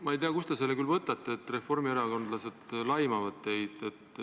Ma ei tea, kust te selle küll võtate, et reformierakondlased laimavad teid.